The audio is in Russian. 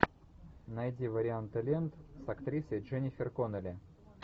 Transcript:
найди варианты лент с актрисой дженнифер коннелли